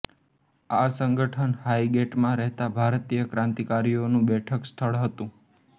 આ સંગઠન હાઈગેટમાં રહેતા ભારતીય ક્રાંતિકારીઓનું બેઠકસ્થળ હતું